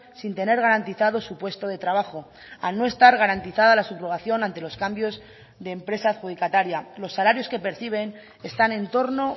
sin tener garantizado su puesto de trabajo al no estar garantizada la subrogación ante los cambios de empresa adjudicataria los salarios que perciben están entorno